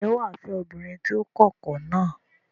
Ǹjẹ́ wà á fẹ́ obìnrin tó kọkọ náà?